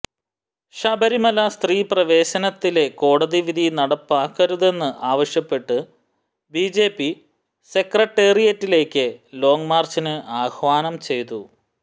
ശബരിമല സ്ത്രീപ്രവേശനത്തിലെ കോടതി വിധി നടപ്പാക്കരുതെന്ന് ആവശ്യപ്പെട്ട് ബിജെപി സെക്രട്ടേറിയറ്റിലേക്ക് ലോങ് മാര്ച്ചിന് ആഹ്വാനം ചെയ്തു